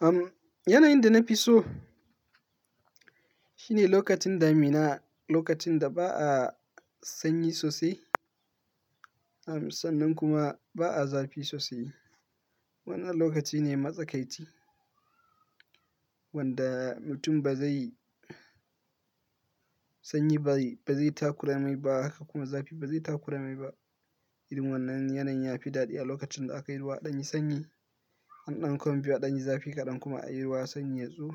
Uhm, yanayin da na fi so shine lokacin damina, lokacin da ba a sanyi sosai, sannan kuma ba a zafi sosai. Wannan lokaci ne matsakaici wanda mutum ba zai sanyi bari, ba zai takuramai ba haka kuma zafi ba zai takuramai ba. Irin wannan yanayin ya fi daɗi a lokacin da aka yi ruwa ɗanyin sanyi, an ɗauko ɗanyin zafi kaɗan kuma an yi ruwa sanyi yatsu.